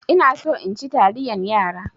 Ina so in ci taliyan yara.